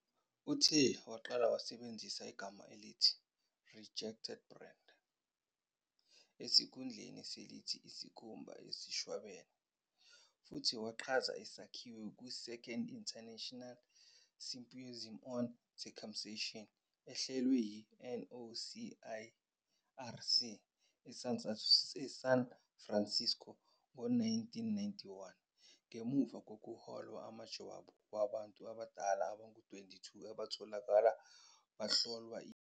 UTaylor uqale wasebenzisa igama elithi "rejected band" esikhundleni selithi "isikhumba esishwabene" futhi wachaza isakhiwo kwi- "Second International Symposium on Circumcision", ehlelwe yi- "NOCIRC" eSan Francisco, ngo-1991, ngemuva kokuhlola amajwabu abantu abadala abangama-22 abatholakala kuhlolwa.